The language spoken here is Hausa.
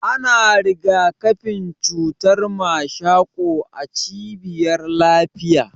Ana rigakafin cutar mashako a cibiyar lafiya.